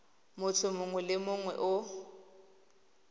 motho mongwe le mongwe o